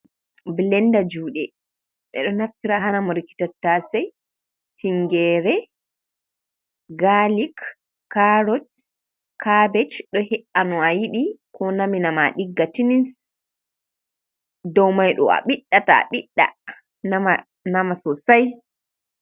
Bilenda juuɗe, ɓe ɗo naftira ha namorki tattase, tingeere, gaalik, kaarot, kaabeej, do he’ano a yiɗi ko nami na ma ɗigga tillis dow mai ɗo a ɓiɗɗa a ɓiɗɗa nama nama sosai.